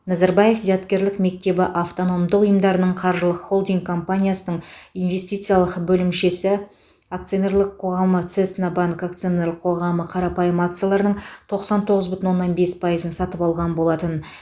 назарбаев зияткерлік мектебі автономдық ұйымдарының қаржылық холдинг компаниясының инвестициялық бөлімшесі акционерлік қоғамы цеснабанк акционерлік қоғамы қарапайым акцияларының тоқсан тоғыз бүтін оннан бес пайызын сатып алған болатын